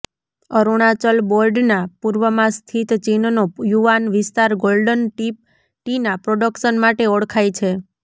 અરુણાચલ બોર્ડના પૂર્વમાં સ્થિત ચીનનો યુવાન વિસ્તાર ગોલ્ડન ટિપ ટીના પ્રોડક્શન માટે ઓળખાય છે